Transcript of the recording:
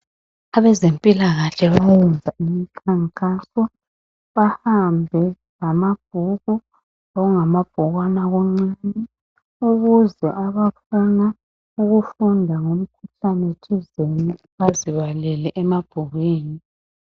abezempilakahle bayayenza imikhankaso bahambe lamabhuku lokungama bhukwana okuncane ukuze abafuna ukufunda ngomukhuhlanethizini bazibalele emabhukwini